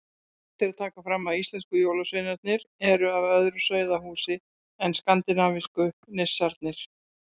Rétt er að taka fram að íslensku jólasveinarnir eru af öðru sauðahúsi en skandinavísku nissarnir.